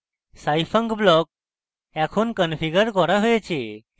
scifunc block এখন configured করা হয়েছে